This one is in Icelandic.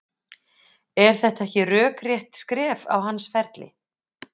Er þetta ekki rökrétt skref á hans ferli?